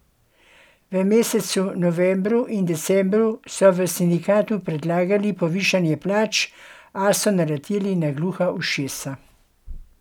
V mesecu novembru in decembru so v sindikatu predlagali povišanje plač, a so naleteli na gluha ušesa.